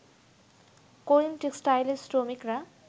করিম টেক্সটাইলের শ্রমিকরা